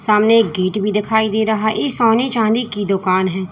सामने एक गेट भी दिखाई दे रहा है ये सोने चांदी की दुकान है।